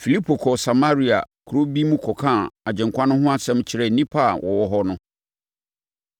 Filipo kɔɔ Samaria kuro bi mu kɔkaa Agyenkwa no ho asɛm kyerɛɛ nnipa a na wɔwɔ hɔ no.